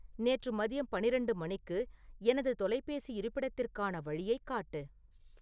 நேற்று மதியம் பன்னிரெண்டு மணிக்கு எனது தொலைபேசி இருப்பிடத்திற்கான வழியைக் காட்டு